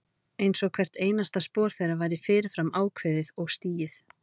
Einsog hvert einasta spor þeirra væri fyrir fram ákveðið og stigið.